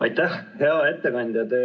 Aitäh, hea ettekandja!